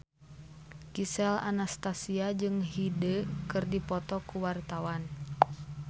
Gisel Anastasia jeung Hyde keur dipoto ku wartawan